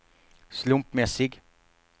slumpmässig